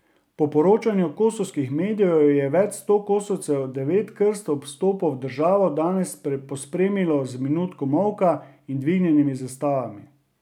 Po poročanju kosovskih medijev je več sto Kosovcev devet krst ob vstopu v državo danes pospremilo z minuto molka in dvignjenimi zastavami.